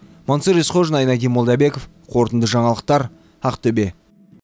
мансұр есқожин айнадин молдабеков қорытынды жаңалықтар ақтөбе